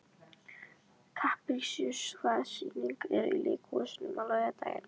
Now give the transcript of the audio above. Kaprasíus, hvaða sýningar eru í leikhúsinu á laugardaginn?